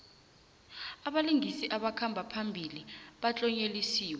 abalingisi abakhamba phambili batlonyelisiwe